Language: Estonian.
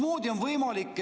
Lugupeetud minister!